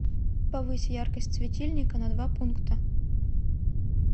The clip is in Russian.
повысь яркость светильника на два пункта